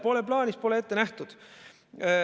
Pole plaanis, pole ette nähtud.